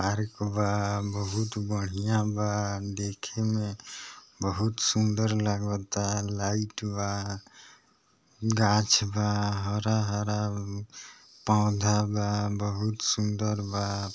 Park बहुत बढ़िया बा देखे मे बहुत सुंदर लागता लाइट बा गाछ बा हरा-हरा पौधा बा बहुत सुंदर बा।